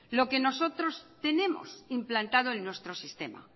lo que nosotros tenemos implantado en nuestro sistema